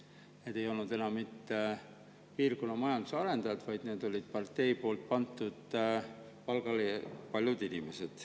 Need ei olnud enam mitte piirkonna majanduse arendajad, vaid need olid partei poolt palgale pandud inimesed.